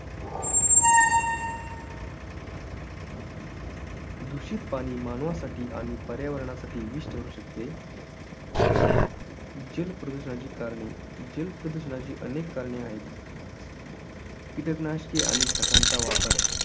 दुषित पाणी मानवासाठी आणि पर्यावरणासाठी विष ठरू शकते. जल प्रदूषणाची कारणे. जल प्रदूषणाची अनेक कारणे आहेत. कीटक नाशके आणि खतांचा वापर.